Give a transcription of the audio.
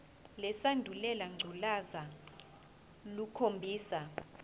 lesandulela ngculazi lukhombisa